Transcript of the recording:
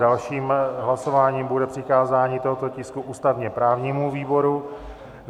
Dalším hlasováním bude přikázání tohoto tisku ústavně-právnímu výboru.